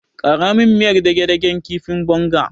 Ƙara min miyar dage-dagen kifin bonga.